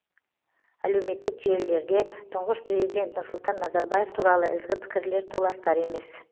әлеуметтік желілерде тұңғыш президент нұрсұлтан назарбаев туралы ізгі пікірлер толастар емес